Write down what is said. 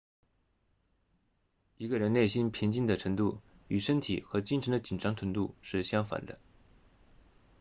一个人内心平静的程度与身体和精神的紧张程度是相反的